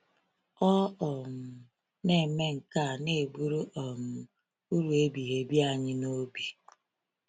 Ọ um na-eme nke a na-eburu um uru ebighị ebi anyị n’obi.